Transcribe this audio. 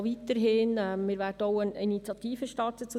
Wir werden zum Thema Prämienlast auch eine Initiative starten.